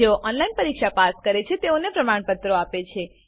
જેઓ ઓનલાઈન પરીક્ષા પાસ કરે છે તેઓને પ્રમાણપત્રો આપે છે